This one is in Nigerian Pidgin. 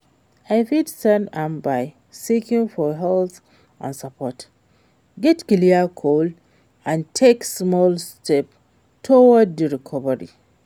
I fit start am by seeking for help and support, set clear goals and take small steps towards di recovery.